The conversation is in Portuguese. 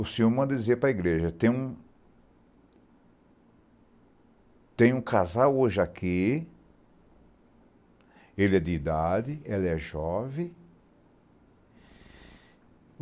O senhor manda dizer para a igreja, tem um tem um casal hoje aqui, ele é de idade, ela é jovem.